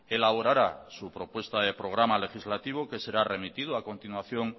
elaborará su propuesta de programa legislativo que será remitido a continuación